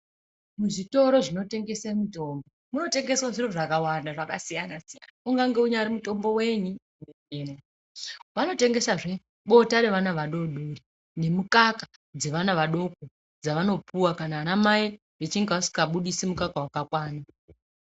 Muzvitoro zvinotengese mutombo munotengeswe zviro zvakawanda zvakasiyana siyana ungange unyari mutombo wenyi urimwo vanotengesazve bota ravana vadodori nemukaka dzavana vadoko dzavanopuwa kana ana mai echinge asingabydisi mukaka wakakwana.